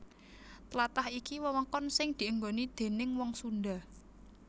Tlatah iki wewengkon sing dienggoni déning wong Sundha